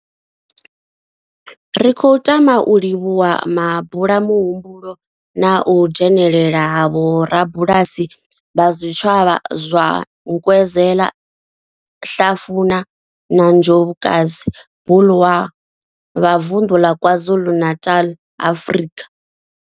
Ri khou tama u livhuwa mabulamuhumbulo na u dzhenela ha vhorabulasi vha zwitshavha zwa Nkwezela, Hlafuna na Njobokazi Bulwer vha vunḓu ḽa KwaZulu-Natal, Afrika.